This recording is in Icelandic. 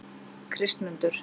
Kristmundur